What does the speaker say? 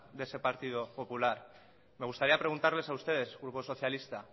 de ese partido popular me gustaría preguntarles a ustedes grupo socialista